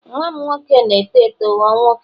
nwa m nwoke na-eto eto ghọọ nwoke